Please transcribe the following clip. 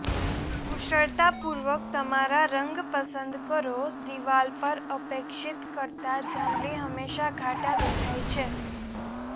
કુશળતાપૂર્વક તમારા રંગ પસંદ કરો દીવાલ પર અપેક્ષિત કરતા જાંબલી હંમેશા ઘાટા દેખાય છે